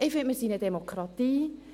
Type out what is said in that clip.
– Ich finde, wir sind eine Demokratie.